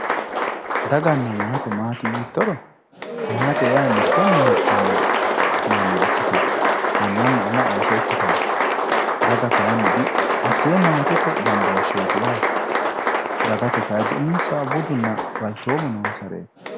daganna maate maati yiittoro maate yaa mitto mine heedhanno manna ikkite annanna ama ooso ikkitanno daga kayni dihatee maatete gambooshsheeti yaate dagate kay diuminsahu budunna balchoomu noonsareeti